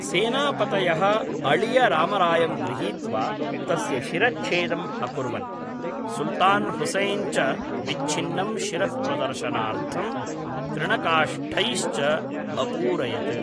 सेनापतयः अळियरामरायं गृहीत्वा तस्य शिरच्छेदम् अकुर्वन्, सुल्तान् हुसैन् च विच्छिन्नं शिरः प्रदर्शनार्थं तृणकाष्ठैश्च अपूरयत्।